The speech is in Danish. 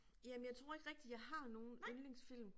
Jamen jeg tror ikke rigtig jeg har nogen yndlingsfilm